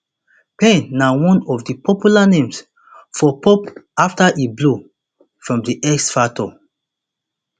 payne na one of di popular names for pop afta e blow from the x factor